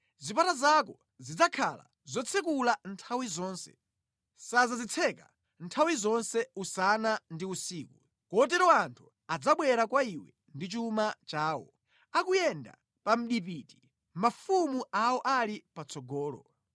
Zipata zako zidzakhala zotsekula nthawi zonse, sadzazitseka nthawi zonse, usana ndi usiku, kotero anthu adzabwera kwa iwe ndi chuma chawo, akuyenda pa mdipiti mafumu awo ali patsogolo.